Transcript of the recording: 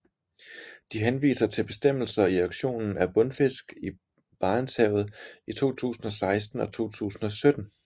De henviser til bestemmelser i auktionen af bundfisk i Barentshavet i 2016 og 2017